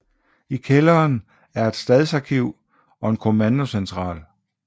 I kælderen er et stadsarkiv og en kommandocentral